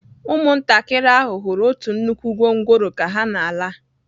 Ụmụntakịrị ahụ hụrụ otu nnukwu gwongworo ka ha na-ala